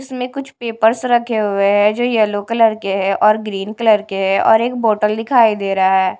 इसमें कुछ पेपर्स रखे हुएं हैं जो येलो कलर के है और ग्रीन कलर के है और एक बॉटल दिखाई दे रहा है।